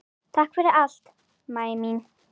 Takk fyrir allt, Mæja mín.